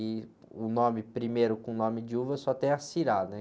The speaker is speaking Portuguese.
e o nome primeiro com nome de uva só tem a, né?